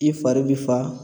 I fari bi fa